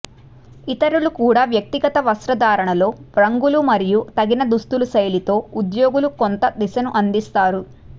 ఇతరులకు కూడా వ్యక్తిగత వస్త్రధారణలో రంగులు మరియు తగిన దుస్తులు శైలితో ఉద్యోగులు కొంత దిశను అందిస్తారు